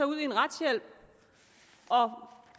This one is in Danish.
ud i en retshjælp